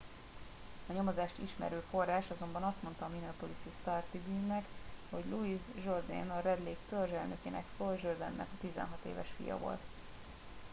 a nyomozást ismerő forrás azonban azt mondta a minneapolis star tribune nak hogy louis jourdain a red lake törzs elnökének floyd jourdain nek a 16 éves fia volt